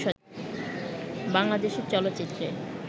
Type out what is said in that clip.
বাংলাদেশের চলচ্চিত্রে